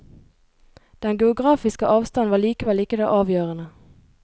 Den geografiske avstanden var likevel ikke det avgjørende.